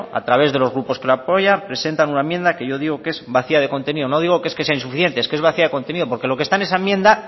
a través de los grupos que lo apoya presenta una enmienda que yo digo que es vacía de contenido no digo que es que sea insuficiente es que es vacía de contenido porque lo que está en esa enmienda